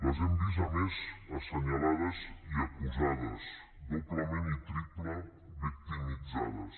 les hem vist a més assenyalades i acusades doblement i triplement victimitzades